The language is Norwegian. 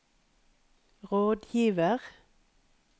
rådgiver